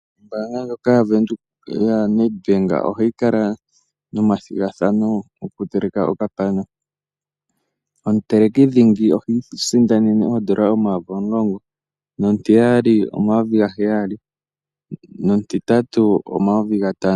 Ombaanga ndjoka ya Nedbank ohayi kala nomathigathano goku teleka okapana, omuteleki dhingi ohiisindanene oN$10000, omutiyali oN$7000 nomutitatu oN$5000.